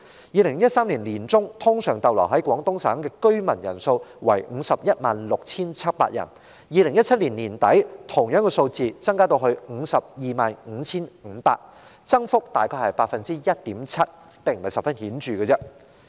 2013年年中，通常逗留在廣東省的居民人數為 516,700 人；到2017年年底，人數增至 525,500 人，增幅約 1.7%， 並不十分顯著。